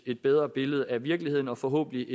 et bedre billede af virkeligheden og forhåbentlig